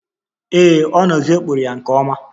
Ee, ọ n'ezie kpụrụ ya nke ọma